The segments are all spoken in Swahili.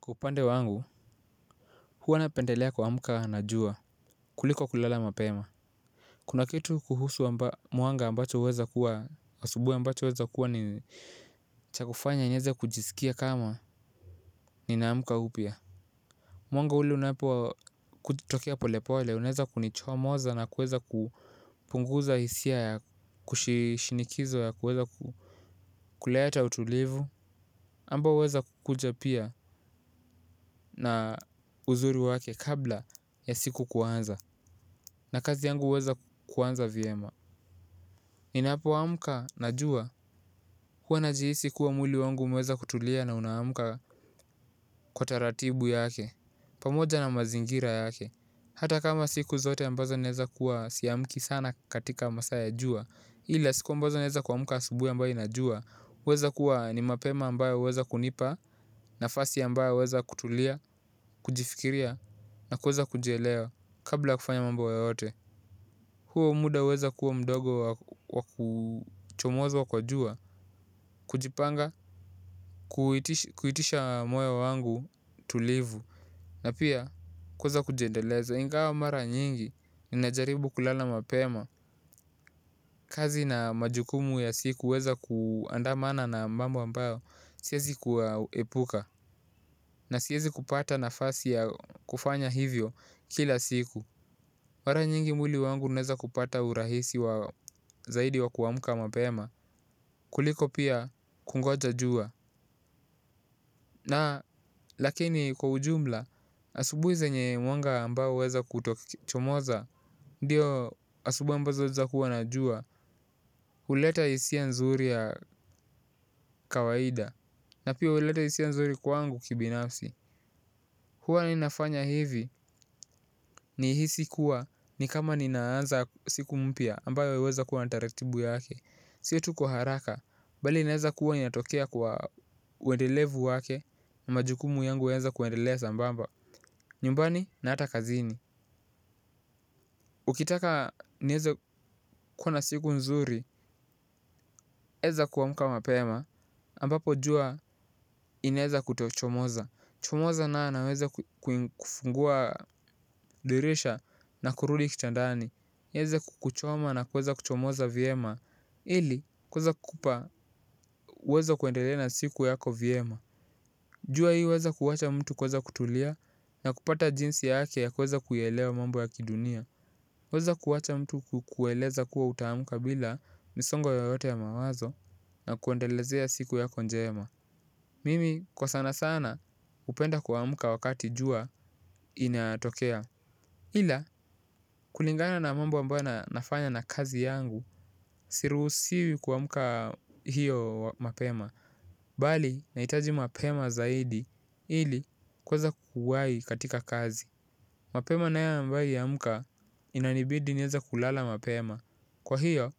Kwa upande wangu, huwa napendelea kuamka na jua kuliko kulala mapema. Kuna kitu kuhusu mwanga ambacho huweza kuwa asubuhi ambacho hjweza kuwa ni cha kufanya nieze kujisikia kama ninaamka upya. Mwanga ule unapokutokea pole pole unaeza kunichomoza na kuweza kupunguza hisia ya kushinikizwa ya kuweza kuleta utulivu ambayo huweza kukuja pia, na uzuri wake kabla ya siku kuanza. Na kazi yangu huweza kuanza vyema. Ninapoamka na jua huwa najihisi kuwa mwili wangu umeweza kutulia na unaamka kwa taratibu yake pamoja na mazingira yake. Hata kama siku zote ambazo naeza kuwa siamki sana katika masaa ya jua, ila siku ambazo naeza kuamka asubuhi ambayo ina jua, huweza kuwa ni mapema ambayo huweza kunipa nafasi ambayo huweza kutulia, kujifikiria na kuweza kujielewa kabla ya kufanya mambo yoyote. Huo muda huweza kuwa mdogo wa kuchomoza wa kwa jua, kujipanga, kuitisha moyo wangu tulivu, na pia kuweza kujiendeleza. Ingawa mara nyingi, ninajaribu kulala mapema. Kazi na majukumu ya siku huweza kuandamana na mambo ambayo, siwezi kuyaepuka, na siwezi kupata nafasi ya kufanya hivyo kila siku. Mara nyingi mwili wangu unaeza kupata urahisi wa zaidi wa kuamka mapema, kuliko pia kungoja jua. Na, lakini kwa ujumla, asubuhi zenye mwanga ambao huweza kutochomoza. Ndio asubuhi ambazo zinaeza kuwa na jua. Huleta hisia nzuri ya kawaida. Na pia huleta hisia nzuri kwangu kibinafsi. Hua ninafanya hivi nihisi kuwa ni kama ninaanza siku mpya ambayo yaweza kuwa na taratibu yake. Si tu kwa haraka, bali inaeza kuwa inatokea kwa uendelevu wake, majukumu yangu huweza kuendelea sambamba. Nyumbani na hata kazini. Ukitaka niweze kuwa na siku nzuri, waeza kuamka mapema, ambapo jua inaeza kutochomoza. Chomoza nayo na uweze kufungua dirisha na kurudi kitandani, iweze kukuchoma na kuweza kuchomoza vyema, ili kuweza kupa weza kuendelea na siku yako vyema. Jua hii huweza kuwacha mtu kuweza kutulia, na kupata jinsi yake ya kuweza kuielewa mambo ya kidunia. Huweza kuwacha mtu kukueleza kuwa utaamka bila, misongo yoyote ya mawazo, na kuendelezea siku yako njema. Mimi kwa sana sana hupenda kuamka wakati jua linatokea. Ila kulingana na mambo ambayo nafanya na kazi yangu, siruhusiwi kuamka hiyo mapema. Bali, nahitaji mapema zaidi ili kuweza kuwahi katika kazi. Mapema nayo ambayo huamka, inanibidi niweze kulala mapema. Kwa hio,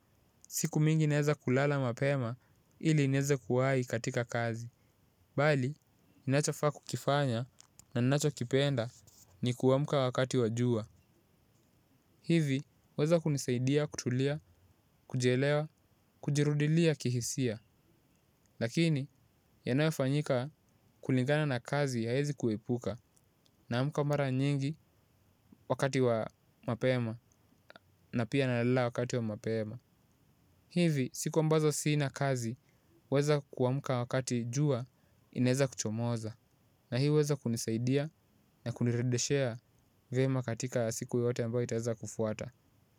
siku mingi naweza kulala mapema ili niweze kuwahi katika kazi. Bali, ninachofaa kukifanya na ninachokipenda ni kuamka wakati wa jua. Hivi, hjweza kunisaidia, kutulia, kujielewa, kujirudilia kihisia, lakini yanayofanyika kulingana na kazi haezi kuepuka. Naamka mara nyingi, wakati wa mapema. Na pia nalala wakati wa mapema. Hivi siku ambazo sina kazi, huweza kuamka wakati jua inaeza kuchomoza. Na hii huweza kunisaidia na kuniredeshea vyema katika siku yote ambayo itaweza kufuata.